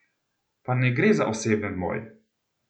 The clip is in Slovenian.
Pa ne gre za oseben boj!